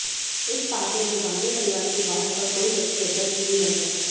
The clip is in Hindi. इस पार्टी में गांधी परिवार के बाहर का कोई व्यक्ति अध्यक्ष नहीं बन सकता